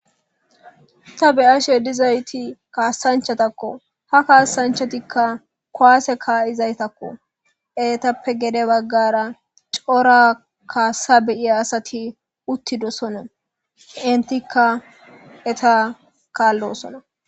ta be'ashe dizayti kaassanchatakko ha kaasanchatikka koaase kaa7izaytakko eetappe gede baggara cora kaasa beyiya asati uttidosona intikka eta kaallosona